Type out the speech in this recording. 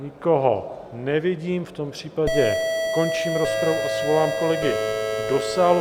Nikoho nevidím, v tom případě končím rozpravu a svolám kolegy do sálu.